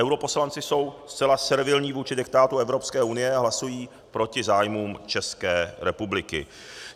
Europoslanci jsou zcela servilní vůči diktátu Evropské unie a hlasují proti zájmům České republiky.